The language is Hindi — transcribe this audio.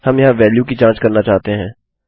हम यहाँ वेल्यू की जाँच करना चाहते हैं